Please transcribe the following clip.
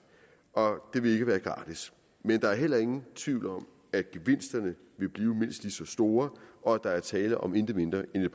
og det vil ikke være gratis men der er heller ingen tvivl om at gevinsterne vil blive mindst lige så store og at der er tale om intet mindre end et